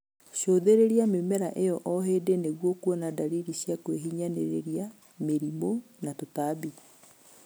Cũthĩrĩria mĩmera ĩyo o hĩndĩ nĩguo kuona dalili cia kwĩhinyanĩrĩria, mĩrimũ na tũtambi